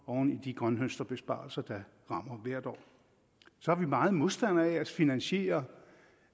oven i de grønthøsterbesparelser der rammer hvert år så er vi meget modstandere af at finansiere